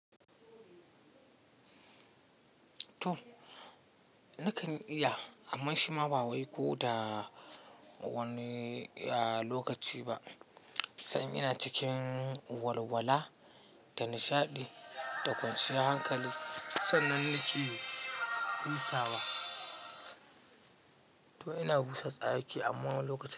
Toh, nakan iya amma shi ma ba wai ko da wani lokaci ba, sai in ina cikin walwala, da nishaɗi da kwanciya hankali sannan nake busawa. To ina busa tsaki amma wani lokaci.